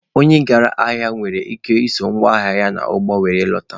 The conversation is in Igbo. Onye gara ahịa nwere ike iso ngwa ahịa ya n'ụgbọ were lọtawa.